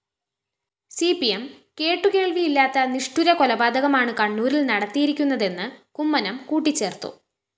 C P M കേട്ടുകേള്‍വിയില്ലാത്ത നിഷ്ഠുരകൊലപാതകമാണ് കണ്ണൂരില്‍ നടത്തിയിരിക്കുന്നതെന്ന് കുമ്മനം കൂട്ടിച്ചേര്‍ത്തു